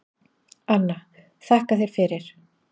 Anna: Þakka þér fyrir.